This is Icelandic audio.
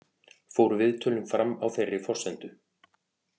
Fóru viðtölin fram á þeirri forsendu